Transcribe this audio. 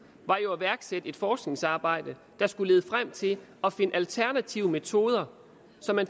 var jo at iværksætte et forskningsarbejde der skulle lede frem til at finde alternative metoder så man